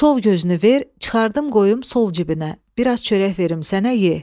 Sol gözünü ver, çıxardım qoyum sol cibinə, biraz çörək verim sənə ye.